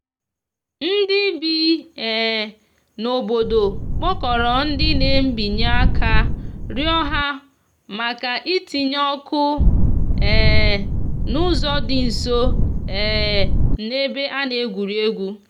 ndi bi um n'obodo kpokoro ndi na mbinye aka rio ha maka ị tinye ọkụ um n'uzo di nso um n'ebe ana egwuregwu.